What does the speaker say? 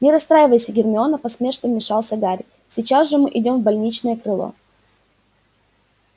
не расстраивайся гермиона поспешно вмешался гарри сейчас же идём в больничное крыло